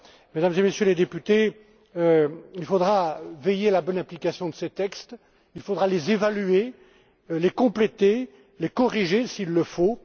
banques. Mesdames et Messieurs les députés, il faudra veiller à la bonne application de ces textes, il faudra les évaluer, les compléter, les corriger